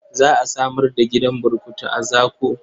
Za a samar da gidan burkutu a Zaku.